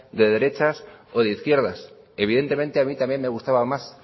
de derechas o de izquierdas evidentemente a mí también me gustaba más